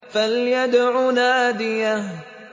فَلْيَدْعُ نَادِيَهُ